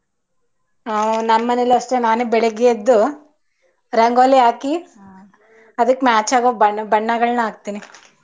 How ನಮ್ಮನೇಲು ಅಷ್ಟೆ ನಾನೇ ಬೆಳ್ಳಿಗೆ ಎದ್ದು ರಂಗೋಲಿ ಹಾಕಿ ಅದಿಕ್ match ಆಗೋ ಬಣ್ಣ ಬಣ್ಣಗಳನ್ನ ಹಾಕ್ತಿನಿ.